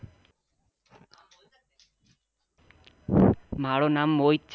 મારુ નામ મોહિત છે.